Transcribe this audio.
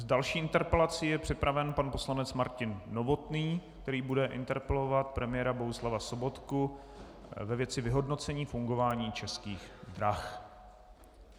S další interpelací je připraven pan poslanec Martin Novotný, který bude interpelovat premiéra Bohuslava Sobotku ve věci vyhodnocení fungování Českých drah.